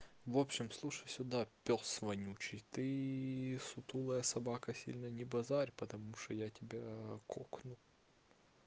в общем слушай сюда пёс вонючий ты сутулая собака сильно не базарь потому что я тебя кокну